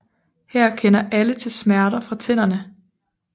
Her kender alle til smerter fra tænderne